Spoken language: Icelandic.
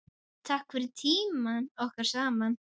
Takk fyrir tímann okkar saman.